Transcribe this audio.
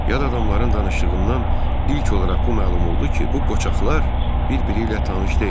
Yad adamların danışığından ilk olaraq bu məlum oldu ki, bu qocalar bir-biri ilə tanış deyildilər.